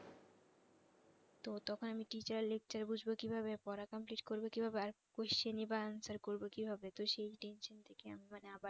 তো তখন আমি teacher lecturer বুঝবো কিভাবে পড়া complete করবো কিভাবে আর questions বা answers করবো কিভাবে তো সেই tension থেকে আমি মানে আবার